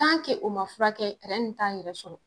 o ma furakɛ tɛrɛn nin t'an yɛrɛ sɔrɔ.